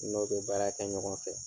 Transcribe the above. N'o bɛ baara kɛ ɲɔgɔn fɛ.